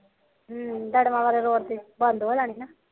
ਹਮ ਕਾਲਮਾ ਵਾਲੇ ਰੋਡ ਤੇ ਬੰਦ ਹੋ ਜਾਣੀ ਆ